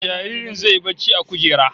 Jaririn zai yi barci a kujera